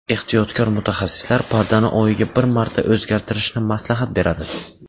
Ehtiyotkor mutaxassislar pardani oyiga bir marta o‘zgartirishni maslahat beradi.